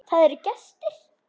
Það eru gestir.